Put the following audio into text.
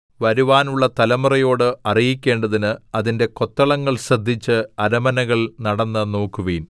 വരുവാനുള്ള തലമുറയോട് അറിയിക്കേണ്ടതിന് അതിന്റെ കൊത്തളങ്ങൾ ശ്രദ്ധിച്ച് അരമനകൾ നടന്ന് നോക്കുവിൻ